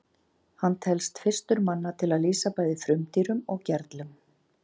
hann telst fyrstur manna til að lýsa bæði frumdýrum og gerlum